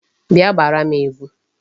Bịa gbaara m egwu!